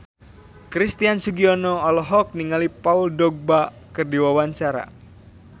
Christian Sugiono olohok ningali Paul Dogba keur diwawancara